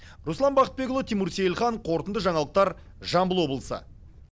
руслан бақытбекұлы тимур сейілхан қорытынды жаңалықтар жамбыл облысы